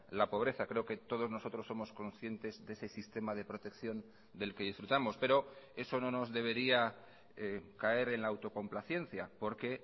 la pobreza creo que todos nosotros somos conscientes de ese sistema de protección del que disfrutamos pero eso no nos debería caer en la autocomplacencia porque